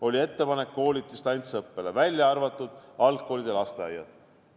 Oli ettepanek viia koolid distantsõppele, välja arvatud algkoolid ja lasteaiad.